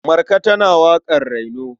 Marka tana waƙar raino.